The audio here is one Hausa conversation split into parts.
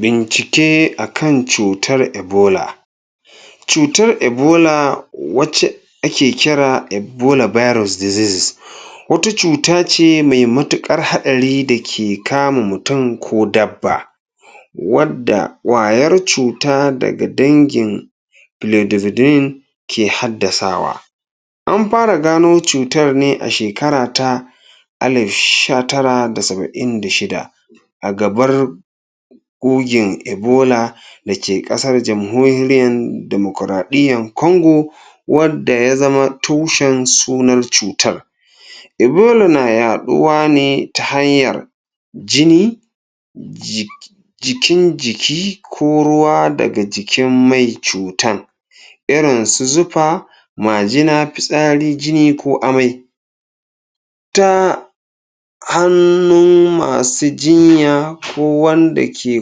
bincike akan cutar ebola cutar ebola wacce ake kira ebola biros deseases wata cutace mai matukar hadari dake kama mutum ko dabba wanda kwayar cuta daga wadda kwayar cuta daga dangin lidividin ke haddasawa an fara gano cutar ne a shekara ta ale sha tara da saba'in da shida agabar gogen ebola dake kasar jamhorian democradiyya Congo wadda yazama tushen sunan cutar ebola na yaduwa ne ta hanyar jini jik jikin jiki ko ruwa daga jikin mai cutan irinsu zufa majina, fitsari, jini, ko amai ta hannun masu jinya ko wanda ke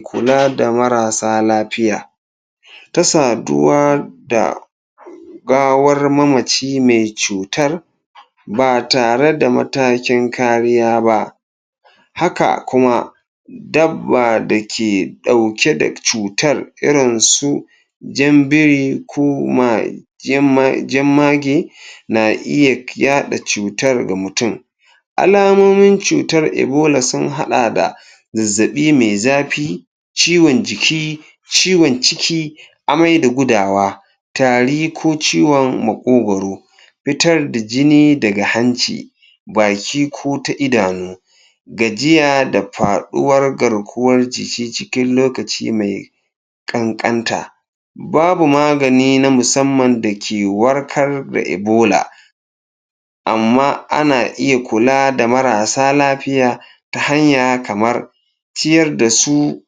kulada marasa lafiya ta saduwa da gawar mamaci mai cutar ba tare da matakin kariya ba haka kuma dabba dake dauke da cutar irin su jan biri ko jama jammage na iya kyada cutar ga mutum alamomin cutar ebola sun haɗa da zazzabi mai zafi ciwon jiki ciwon ciki amai da gudawa tari ko ciwon makogoro fitar da jini daga hanci baki ko ta idanu gajiya da faduwan garkuwar jiki cikin lokaci mai kankanta babu magani na musamman dake warkar da ebola amma ana iya kula da marasa lafiya ta hanya kamar ciyar dasu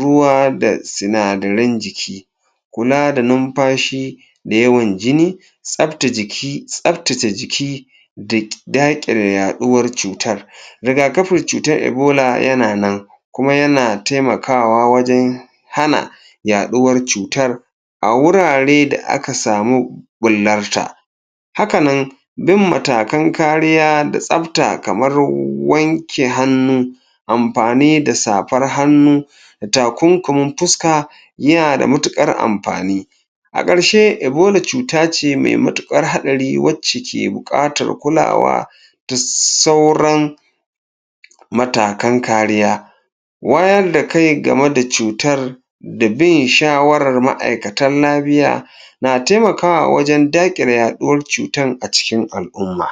ruwa da sinadaran jiki kula da numfashi da yawan jini tsafta jiki tsaftace jiki da dakile yaduwar cutar riga kafin cutar ebola yana nan kuma yana taimakawa wajan hana yaduwar cutar awurare da aka samu bullarta hakanan duk matakan kariya da tsafta kamar wanke hannu amfani da safar hannu takunkumin fuska yanada matukar amfani akarshe ebola cuta ce mai matukar hadari wacce ke da bukatar kulawa dassauran matakan kariya wayarda kai gameda cutar da bin shawarar maikatan lafiya na taimakwa wajan dakile yaduwan cutar a cikin al'umma